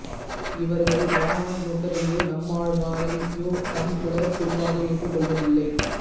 இவர்கள் இராமாநுசரையோ நம்மாழ்வாரையோ தம் குல குருவாக ஏற்றுக் கொள்வதில்லை